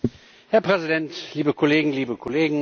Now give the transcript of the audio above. Herr Präsident, liebe Kolleginnen, liebe Kollegen!